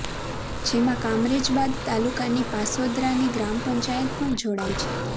જેમાં કામરેજ બાદ તાલુકાની પાસોદરાની ગ્રામ પંચાયત પણ જોડાઇ છે